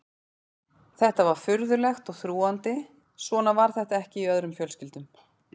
Þetta var furðulegt og þrúgandi, svona var þetta ekki í öðrum fjölskyldum.